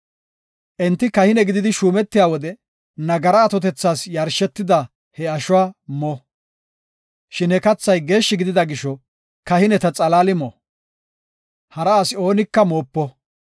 Enti kahine gididi shuumetiya wode nagara atotethas yarshetida he ashuwa mona. Shin he kathay geeshshi gidida gisho, kahineta xalaali mo; hara asi oonika moopo.